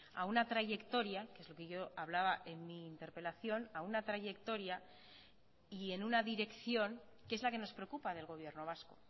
a una trayectoria que es lo que yo hablaba en mi interpelación a una trayectoria y en una dirección que es la que nos preocupa del gobierno vasco